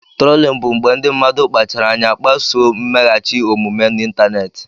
Turolin bụ mgbe ndị mmadụ kpachaara anya kpasuo mmeghachi omume n'ịntanetị.